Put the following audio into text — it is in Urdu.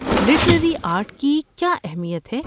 لٹریری آرٹ کی کیا اہمیت ہے؟